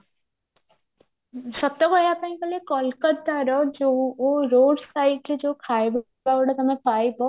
ସତ କହିବା ପାଇଁ ଗଲେ କଲକତାର ଯୋଉ ତମେ ଖାଇବ